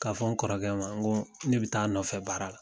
Ka fɔ n kɔrɔkɛ ma, ŋo ne be taa a nɔfɛ baara la.